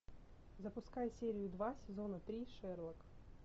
запускай серию два сезона три шерлок